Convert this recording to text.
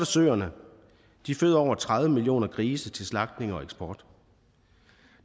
søerne de føder over tredive millioner grise til slagtning og eksport